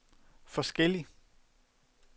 forskellig